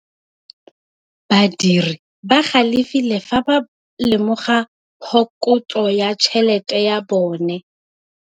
Badiri ba galefile fa ba lemoga phokotsô ya tšhelête ya bone.